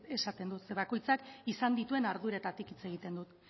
esaten dut zeren bakoitzak izan dituen arduretatik hitz egiten dut